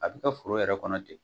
A bɛ kɛ foro yɛrɛ kɔnɔ ten.